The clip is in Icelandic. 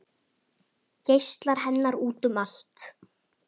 Geislar hennar út um allt